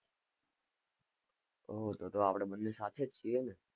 ઓહ, તો તો આપડે બને સાથે જ છીએ ને.